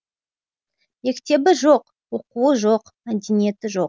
мектебі жоқ оқуы жоқ мәдениеті жоқ